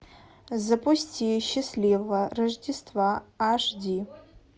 запусти счастливого рождества аш ди